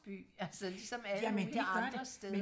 jamen det gør det men